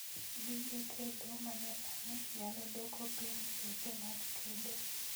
Gige tedo manyasani nyalo duoko piny seche mag tedo